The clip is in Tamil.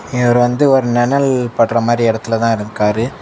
இவரு வந்து ஒரு நெனல் படுற மாரி எடத்துல தான் நிக்காரு.